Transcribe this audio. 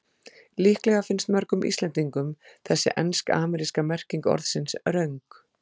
Líklega finnst mörgum Íslendingum þessi ensk-ameríska merking orðsins röng.